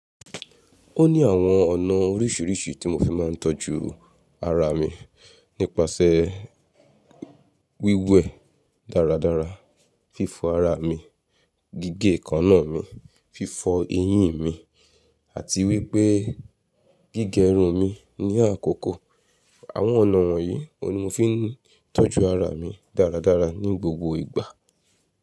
Ó ní àwọn ọ̀nà oríṣiríṣi tí mo fi máa ń tọ́jú ara mi nípasẹ̀ wíwẹ dáradára, fífọ ara mi, gígé èékánná mi, fífọ eyín mi àti wípé gígẹ irun mi ní àkókò. Àwọn ọ̀nà wọ̀nyí ohùn ni mo fi ń tọ́jú ara mi dáradára ní gbogbo ìgbà.